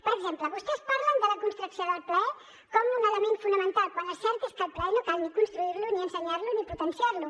per exemple vostès parlen de la construcció del plaer com un element fonamental quan el cert és que el plaer no cal ni construir lo ni ensenyar lo ni potenciar lo